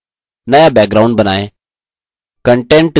नया background बनाएँ